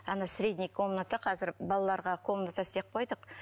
ана средний комнатада қазір балаларға комната істеп қойдық